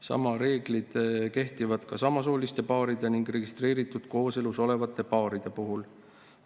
Samad reeglid kehtivad ka samasooliste paaride ning registreeritud kooselus olevate paaride puhul.